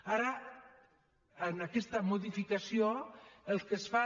ara en aquesta modificació el que es fa